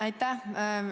Aitäh!